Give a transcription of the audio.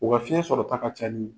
O ka fiɲɛ sɔrɔ ta ka ca ni